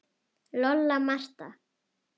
Lolla, Marta